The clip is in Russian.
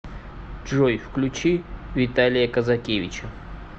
джой включи виталия казакевича